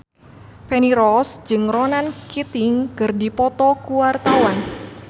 Feni Rose jeung Ronan Keating keur dipoto ku wartawan